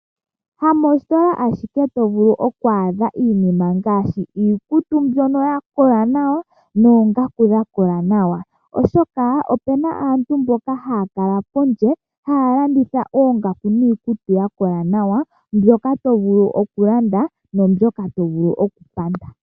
Hamoositola ashike to vulu oku adha iinima ngaashi iikutu mbyono ya kola nawa noongaku dha kola nawa oshoka opuna aantu mboka haya kala pondje. Haya landitha oongaku niikutu ya kola nawa mbyoka tovulu oku landa naambyoka tovulu oku panda.